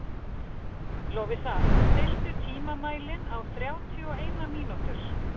Lovísa, stilltu tímamælinn á þrjátíu og eina mínútur.